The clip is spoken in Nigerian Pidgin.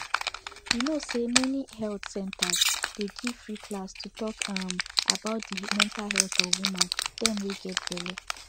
you no say many health centers dey give free class to talk um about de mental health of woman them wey get belle